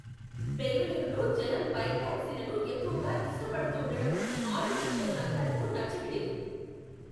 బెంగళూరులో జనం బైక్ టాక్సీలను ఎక్కువగా ఇష్టపడుతూండడం ఆటో రిక్షా సంఘాలకు నచ్చట్లేదు.